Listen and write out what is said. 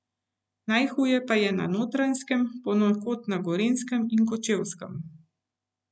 Najhuje pa je na Notranjskem, ponekod na Gorenjskem in Kočevskem.